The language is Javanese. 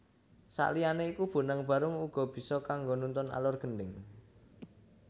Sakliyané iku Bonang Barung uga bisa kanggo nuntun alur Gendhing